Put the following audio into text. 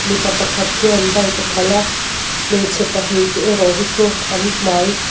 mipa pakhat khian bike a khalh a hmeichhe pahnih te erawh hi chu an hmai--